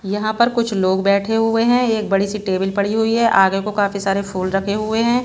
यहां पर कुछ लोग बैठे हुए है एक बड़ी सी टेबिल पड़ी हुई है आगे को काफी सारे फूल रखे हुए है।